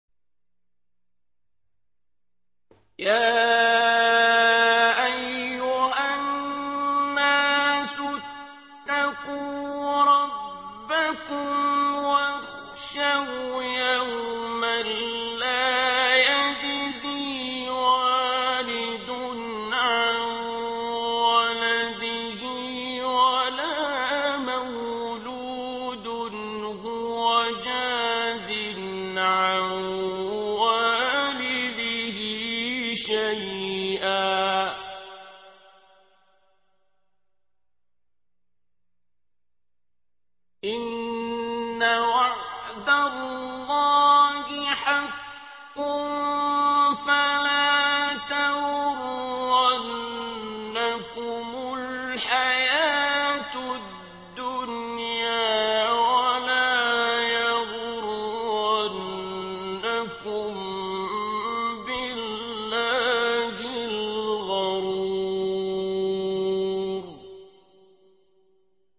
يَا أَيُّهَا النَّاسُ اتَّقُوا رَبَّكُمْ وَاخْشَوْا يَوْمًا لَّا يَجْزِي وَالِدٌ عَن وَلَدِهِ وَلَا مَوْلُودٌ هُوَ جَازٍ عَن وَالِدِهِ شَيْئًا ۚ إِنَّ وَعْدَ اللَّهِ حَقٌّ ۖ فَلَا تَغُرَّنَّكُمُ الْحَيَاةُ الدُّنْيَا وَلَا يَغُرَّنَّكُم بِاللَّهِ الْغَرُورُ